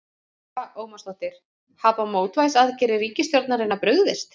Lára Ómarsdóttir: Hafa mótvægisaðgerðir ríkisstjórnarinnar brugðist?